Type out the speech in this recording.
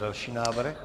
Další návrh?